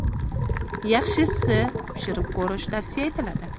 Yaxshisi pishirib ko‘rish tavsiya etiladi.